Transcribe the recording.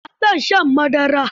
Ba na son shan madara.